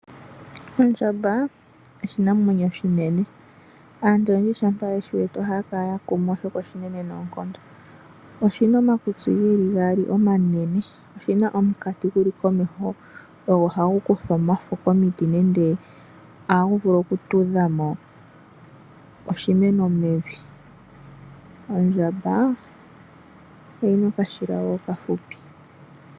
Ondjamba oshinamwrnyo oshineneosina omakutsi gaali omanene, oshina omukati guli pokati komeho. Ogo hagu kutha ohagu vulu oku tudhamo omuti mevi. Ondjamba oyina okashila okafupi